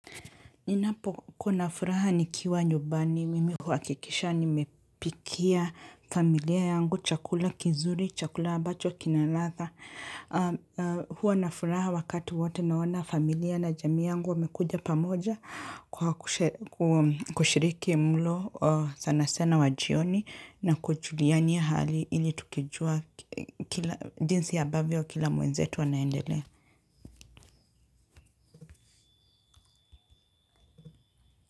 Ninapokuwa furaha nikiwa nyumbani, mimi huhakikisha nimepikia familia yangu, chakula kizuri, chakula ambacho, kina ladha. Huwa na furaha wakati wote naona familia na jamii yangu wamekuja pamoja kushiriki mlo sana sana wa jioni na kujuliania hali ili tukijua jinsi ya ambavyo kila mwenzetu anaendelea.